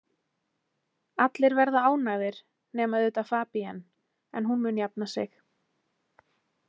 Allir verða ánægðir, nema auðvitað Fabienne, en hún mun jafna sig.